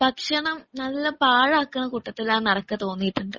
ഭക്ഷണം നല്ല പാഴാക്കണ കൂട്ടത്തിലാ നനെക്ക് തോന്നിയിട്ടുണ്ട്